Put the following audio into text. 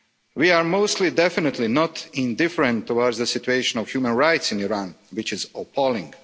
We are most definitely not indifferent towards the situation of human rights in Iran, which is appalling.